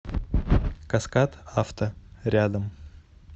каскад авто рядом